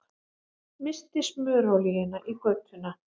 Missti smurolíuna í götuna